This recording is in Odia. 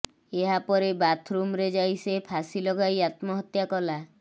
ଏହାପରେ ବାଥରୁମରେ ଯାଇ ସେ ଫାସି ଲଗାଇ ଆତ୍ମହତ୍ୟା କଲା